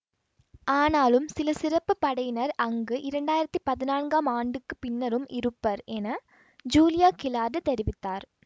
ஆனாலும் சில சிறப்பு படையினர் அங்கு இரண்டாயிரத்தி பதினான்காம் ஆண்டுக்கு பின்னரும் இருப்பர் என ஜூலியா கிலார்ட் தெரிவித்தார்